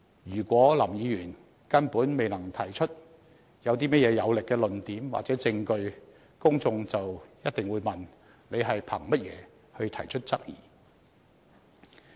如果林議員根本未能提出有力的論點或證據，公眾便一定會問：他憑甚麼提出質疑呢？